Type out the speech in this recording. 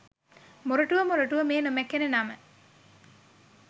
මොරටුව මොරටුව මේ නොමැකෙන නම